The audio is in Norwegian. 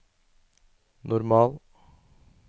normal